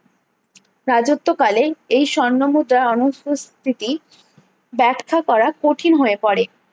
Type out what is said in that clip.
রাজত্বকালে এই স্বর্ণ মুদ্রা অনুপস্থিতি ব্যাখ্যা করা কঠিন হয়ে পরে